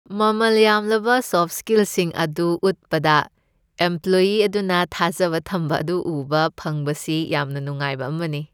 ꯃꯃꯜ ꯌꯥꯝꯂꯕ ꯁꯣꯐꯠ ꯁ꯭ꯀꯤꯜꯁꯤꯡ ꯑꯗꯨ ꯎꯠꯄꯗ ꯏꯝꯄ꯭ꯂꯣꯌꯤ ꯑꯗꯨꯅ ꯊꯥꯖꯕ ꯊꯝꯕ ꯑꯗꯨ ꯎꯕ ꯐꯪꯕꯁꯤ ꯌꯥꯝꯅ ꯅꯨꯡꯉꯥꯏꯕ ꯑꯃꯅꯤ꯫